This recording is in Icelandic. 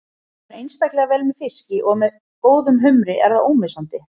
Það fer einstaklega vel með fiski og með góðum humri er það ómissandi.